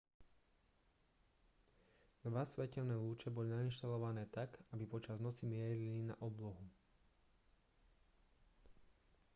dva svetelné lúče boli nainštalované tak aby počas noci mierili na oblohu